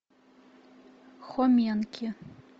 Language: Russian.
хоменки